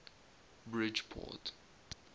bridgeport